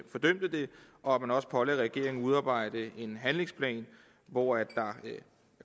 og pålagde regeringen at udarbejde en handlingsplan hvor der